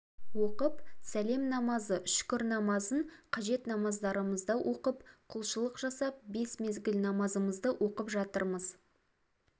оқып сәлем намазы шүкір намазын қажет намаздарымызды оқып құлшылық жасап бес мезгіл намазымызды оқып жатырмыз